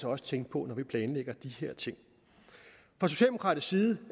også tænke på når vi planlægger de her ting fra socialdemokratisk side